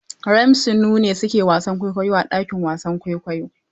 Ramsey Noah ne su ke wasan kwaikwayo a ɗakin wasan kwaikwayo.